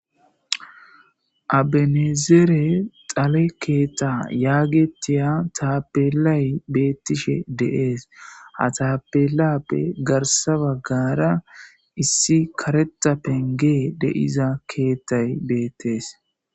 Abenezere xale keeta yaagetiya taapelay beettishe deees ha taapelappe garsa baggara issi kareta penge deiza keettay beettees.